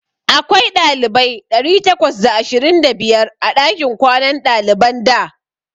Akwai ɗalibai ɗari takwas da ashirin da biyar a ɗakin kwanan ɗaliban da.